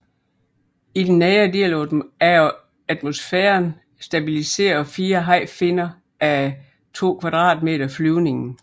I den nedre del af atmosfæren stabiliserer fire hajfinner á 2 m² flyvningen